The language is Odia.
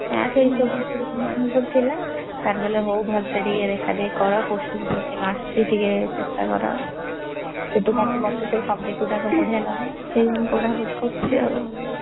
ଏଇ ସବୁ ଆମର ସବୁ ଥିଲା sir କହିଲେ ହଉ, ଭଲସେ ଟିକେ ଦେଖାଦେଖି କର। posting foasting ଆସୁଛି ଟିକେ ଚେଷ୍ଟା କର। କହୁଛୁ ମତେ ସେଇ subject ଗୁଡାକ ବଢିଆ ଲାଗେ ସେଇ ମୁଁ ପଢାପଢି କରୁଛି ଆଉ।